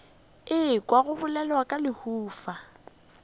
ekwa go bolelwa ka lehufa